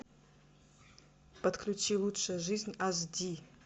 подключи лучшая жизнь аш ди